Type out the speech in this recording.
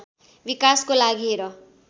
विकासको लागि हेर